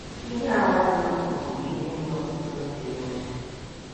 Ihe a nwaanyị a kwuru bụ ihe dị ọtụtụ ndị n’obi.